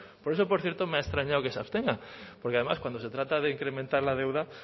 por eso por cierto me ha extrañado que se abstengan porque además cuando se trata de incrementar la deuda